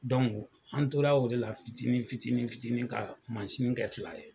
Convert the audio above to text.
an tora o de la fitinin fitinin fitinin ka kɛ fila ye